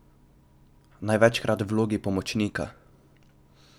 Največkrat v vlogi pomočnika.